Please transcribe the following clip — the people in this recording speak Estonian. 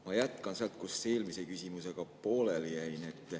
Ma jätkan sealt, kus eelmise küsimusega pooleli jäin.